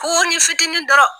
Koni fitinin dɔrɔn